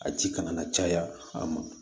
A ci kana na caya a ma